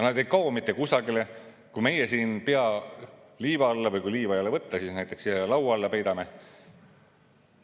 Nad ei kao mitte kusagile, kui meie siin pea liiva alla peidame või kui liiva ei ole võtta, siis näiteks siia laua alla peidame.